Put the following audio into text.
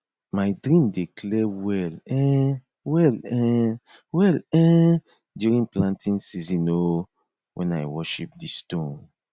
my dream dey clear well um well um well um during planting season um when i worship di stone